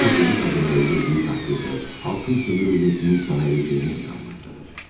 Sələmçi qadını öldürdüyü təqdirdə, xalqın istismarının sona çatacağına inanır.